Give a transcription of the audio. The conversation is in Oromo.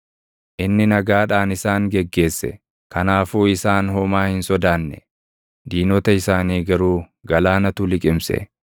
Inni nagaadhaan isaan geggeesse; // kanaafuu isaan homaa hin sodaanne; diinota isaanii garuu galaanatu liqimse.